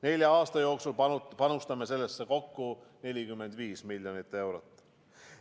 Nelja aasta jooksul panustame sellesse kokku 45 miljonit eurot.